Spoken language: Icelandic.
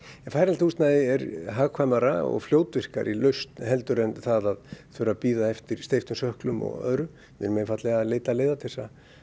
færanlegt húsnæði er hagkvæmari og fljótvirkari lausn heldur en að þurfa að bíða eftir steyptum sökklum og öðru við erum einfaldlega að leita leiða til